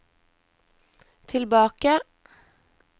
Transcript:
tilbake